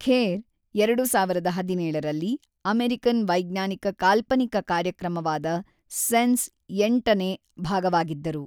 ಖೇರ್, ಎರಡು ಸಾವಿರದ ಹದಿನೇಳರಲ್ಲಿ ಅಮೇರಿಕನ್ ವೈಜ್ಞಾನಿಕ ಕಾಲ್ಪನಿಕ ಕಾರ್ಯಕ್ರಮವಾದ ಸೆನ್ಸ್ ಎಂಟನೇ ಭಾಗವಾಗಿದ್ದರು.